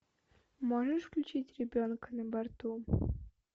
можешь включить ребенок на борту